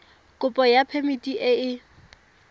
kopo ya phemiti e e